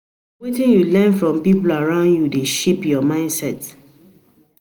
Na wetin you learn from people around you dey shape your mindset.